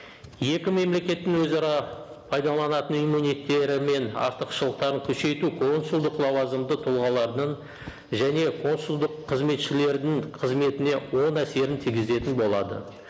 екі мемлекеттің өзара пайдаланатын мен артықшылықтарын күшейту консулдық лауазымды тұлғаларының және консулдық қызметшілердің қызметіне оң әсерін тигізетін болады